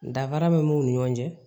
Danfara min b'u ni ɲɔgɔn cɛ